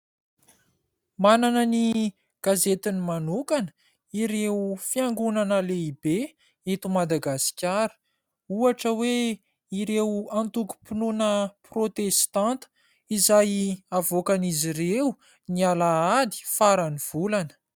Manana ny gazetiny manokana ireo fiangonana lehibe eto Madagasikara, ohatra hoe : ireo antokom-pinoana prôtestanta izay havoakan'izy ireo ny alahady farany volana.